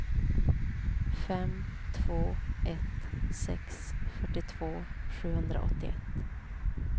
fem två ett sex fyrtiotvå sjuhundraåttioett